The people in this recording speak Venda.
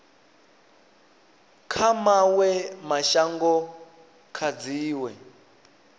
kha mawe mashango kha dziwe